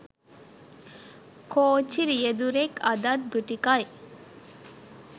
කෝච්චි රියදුරෙක් අදත් ගුටි කයි